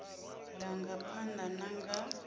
ḓa nga phanḓa na nga